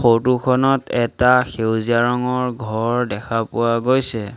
Photo খনত এটা সেউজীয়া ৰঙৰ ঘৰ দেখা পোৱা গৈছে।